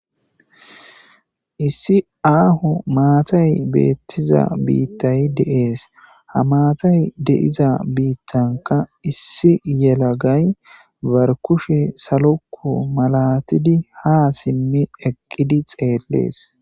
Issi aaho maatay beettiza biittay de7ees ha maatay deiza biittanka issi yelagay barkushe salokku malatidi ha simmi eqqidi xeellees.